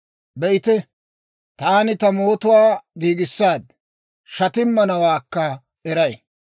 Be'ite, taani ta mootuwaa giigissaaddi; shatimmanawaakka eray.